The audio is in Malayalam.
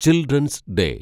children's day